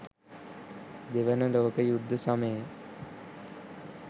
දෙවන ලෝක යුද්ධ සමයේ